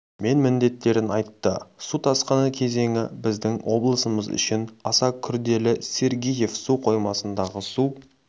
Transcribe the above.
мен міндеттерін айтты су тасқыны кезеңі біздің облысымыз үшін аса күрделі сергеев су қоймасындағы су